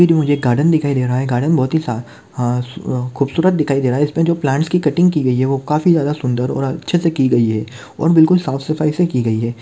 तस्वीर मुझे गार्डन दिखाई दे रहा है गार्डन बहुत ही अ ह खूबसूरत दिखाई दे रहा इसमे जो प्लांटस की कटिंग की गई है वो काफी जादा सुंदर और अच्छे से की गई है और बिलकुल साफ सफाई से की गई है।